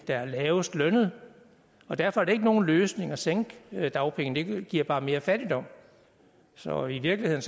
der er lavest lønnede og derfor er det ikke nogen løsning at sænke dagpengene det giver bare mere fattigdom så i virkeligheden